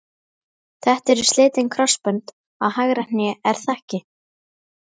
Þetta eru slitin krossbönd á hægra hné er það ekki?